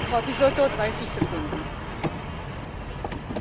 Allora, io vivo in Italia e non vivo sulla luna.